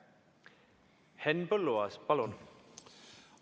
Henn Põlluaas, palun!